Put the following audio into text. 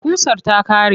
Ƙusar ta ƙare.